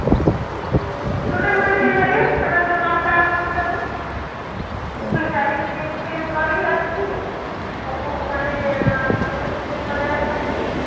student ମାନେ ଦେଇ ପାରିବେ ସେମାନେ ଯୋଉ ଦଶଟା ବେଳକୁ ଉଠୁଛନ୍ତି ଯାଇକି gym ଫିମ କରିକି ଆସିକି ସବୁ ମାନେ protein ଫୋଟିନ ବଗେରା ଖାଇକି